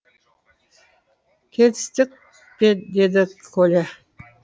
келістік пе деді коля